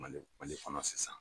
Mali mali fana sisan